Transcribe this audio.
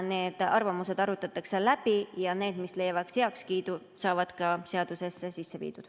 Need arvamused arutatakse läbi ja need, mis leiavad heakskiidu, saavad ka seadusesse sisse viidud.